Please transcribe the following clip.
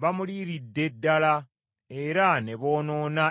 bamuliiridde ddala era ne boonoona ensi ye.